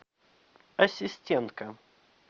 ассистентка